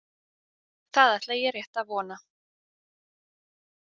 Það ætla ég rétt að vona.